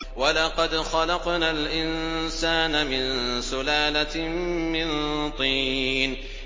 وَلَقَدْ خَلَقْنَا الْإِنسَانَ مِن سُلَالَةٍ مِّن طِينٍ